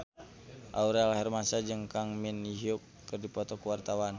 Aurel Hermansyah jeung Kang Min Hyuk keur dipoto ku wartawan